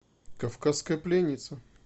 кавказская пленница